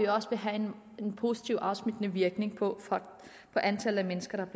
også vil have en positivt afsmittende virkning på antallet af mennesker der